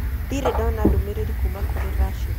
Ndirĩ ndona ndũmĩrĩri kuuma kũrĩ Rashid